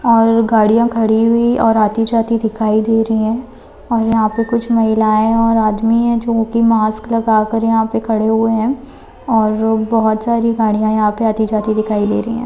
और गाड़ीया खरी हुयी और आति जाति दिखाई दे रही है। और यहा पे कुछ महिलाये और आदमी हे जो की मास्क लगाकर यहा पे खड़े हुई हे। और अ बहत सारे गाड़िया इहा पे आति जाती दिखाई दे रही हे।